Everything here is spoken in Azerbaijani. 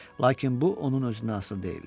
Lakin bu onun özündən asılı deyildi.